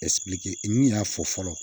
min y'a fɔ fɔlɔ